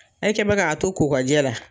E kɛ mɛn k'a to ko ka jɛ la